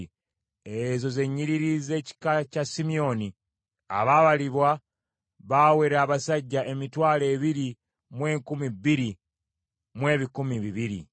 Ezo ze nnyiriri z’ekika kya Simyoni. Abaabalibwa baawera abasajja emitwalo ebiri mu enkumi bbiri mu ebikumi bibiri (22,200).